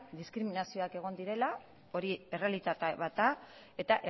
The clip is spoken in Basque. diskriminazioak egon direla hori errealitate bat da eta